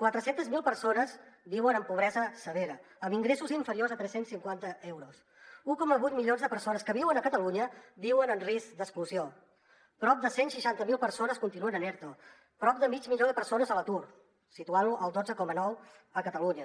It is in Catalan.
quatre cents miler persones viuen en pobresa severa amb ingressos inferiors a tres cents i cinquanta euros un coma vuit milions de persones que viuen a catalunya viuen en risc d’exclusió prop de cent i seixanta miler persones continuen en erto prop de mig milió de persones a l’atur situant la al dotze coma nou catalunya